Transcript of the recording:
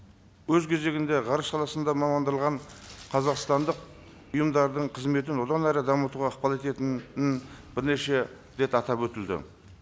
өз кезегінде ғарыш саласында қазақстандық ұйымдардың қызметін одан әрі дамытуға ықпал ететінін бірнеше рет атап өтілді